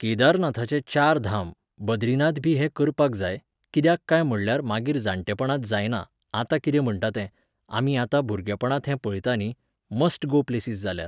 केदारनाथाचे चार धाम, बद्रीनाथबी हे करपाक जाय, कित्याक काय म्हणल्यार मागीर जाणटेपणांत जायना, आत्तां कितें म्हणटा तें, आमी आतां भुरगेपणांत हें पळयता न्ही, मस्ट गो प्लेसिस जाल्यार